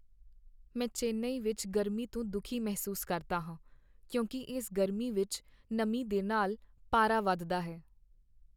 ਮੈਂ ਚੇਨਈ ਵਿੱਚ ਗਰਮੀ ਤੋਂ ਦੁਖੀ ਮਹਿਸੂਸ ਕਰਦਾ ਹਾਂ ਕਿਉਂਕਿ ਇਸ ਗਰਮੀ ਵਿੱਚ ਨਮੀ ਦੇ ਨਾਲ ਪਾਰਾ ਵੱਧਦਾ ਹੈ।